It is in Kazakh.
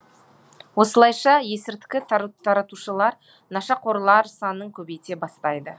осылайша есірткі таратушылар нашақорлар санын көбейте бастайды